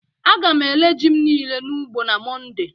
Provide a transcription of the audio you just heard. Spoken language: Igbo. a ga m ere ji m nile n'ugbo na monday